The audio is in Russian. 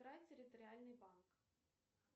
территориальный банк